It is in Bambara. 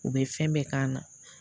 U bɛ fɛn bɛɛ k'a la